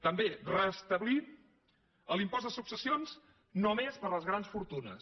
també restablir l’impost de successions només per a les grans fortunes